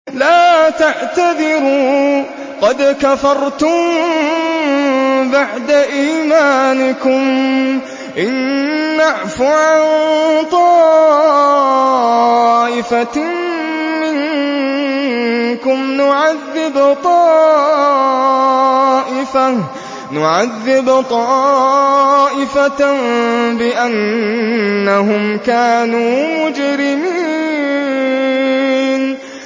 لَا تَعْتَذِرُوا قَدْ كَفَرْتُم بَعْدَ إِيمَانِكُمْ ۚ إِن نَّعْفُ عَن طَائِفَةٍ مِّنكُمْ نُعَذِّبْ طَائِفَةً بِأَنَّهُمْ كَانُوا مُجْرِمِينَ